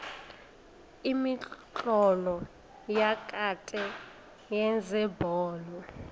imitlolo yakade yezebholo